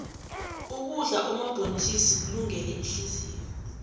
ukudla omabhontjisi kulungele ihliziyo